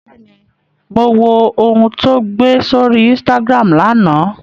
Bẹ́ẹ̀ni, mo wo ohun tó gbé sórí Instagram lánàá